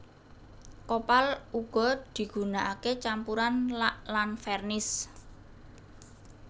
Kopal uga digunakake campuran lak lan vernis